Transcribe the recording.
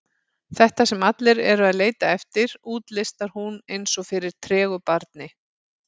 Þetta sem allir eru að leita eftir, útlistar hún eins og fyrir tregu barni.